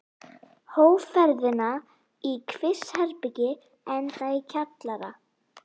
Hóf ferðina þar í kvistherbergi, enda í kjallara.